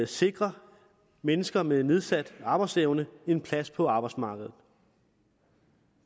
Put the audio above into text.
sikre mennesker med nedsat arbejdsevne en plads på arbejdsmarkedet